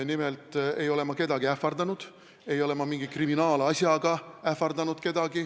Nimelt ei ole ma kedagi ähvardanud, ma ei ole kedagi mingi kriminaalasjaga ähvardanud.